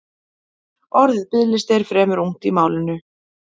Orðið biðlisti er fremur ungt í málinu.